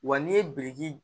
Wa n'i ye biriki